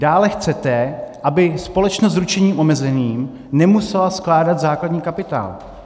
Dále chcete, aby společnost s ručením omezeným nemusela skládat základní kapitál.